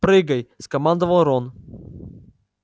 прыгай скомандовал рон